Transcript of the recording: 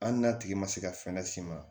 Hali n'a tigi ma se ka fɛn s'i ma